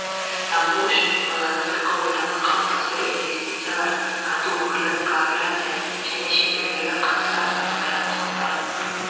дамуы үшін қолайлы сыртқы ортаны қалыптастыру инвестициялар тарту өңірлік кооперация және шетелдегі қазақстан азаматтарының құқықтарын